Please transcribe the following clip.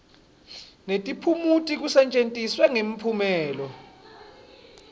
netiphumuti kusetjentiswe ngemphumelelo